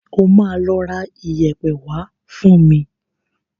O máa lọ ra iyẹ̀pẹ̀ wá fún mi.